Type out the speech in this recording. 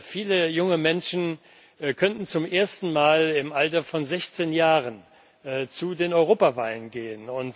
Viele junge Menschen könnten zum ersten Mal im Alter von 16 Jahren zu den Europawahlen gehen.